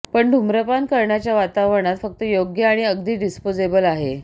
पण धूम्रपान करण्याच्या वातावरणात फक्त योग्य आणि अगदी डिस्पोजेबल आहे